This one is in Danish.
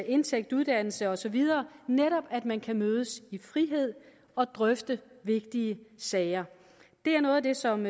indtægt uddannelse og så videre netop at man kan mødes i frihed og drøfte vigtige sager det er noget af det som